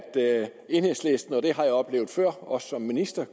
enhedslisten og det har jeg oplevet før også som minister